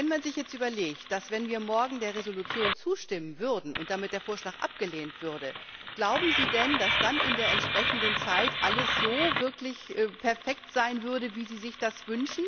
wenn man sich jetzt überlegt, dass, wenn wir morgen der Entschließung zustimmen würden und damit der Vorschlag abgelehnt würde, glauben Sie denn, dass dann in der entsprechenden Zeit alles wirklich so perfekt sein würde, wie Sie sich das wünschen?